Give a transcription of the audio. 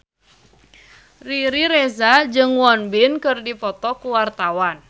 Riri Reza jeung Won Bin keur dipoto ku wartawan